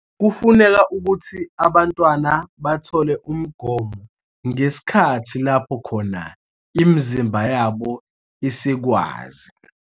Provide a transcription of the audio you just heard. Kufuneka ukuthi abantwana bathole umgomo ngesikhathi lapho khona imizimba yabo isikwazi